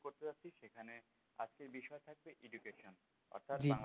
জি রাখলাম